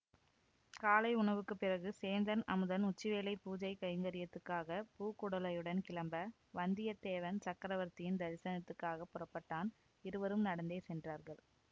காலை உணவுக்குப் பிறகு சேந்தன் அமுதன் உச்சிவேளை பூஜைக் கைங்கரியத்துக்காகப் பூக்குடலையுடன் கிளம்ப வந்தியத்தேவன் சக்கரவர்த்தியின் தரிசனத்துக்காகப் புறப்பட்டான் இருவரும் நடந்தே சென்றார்கள்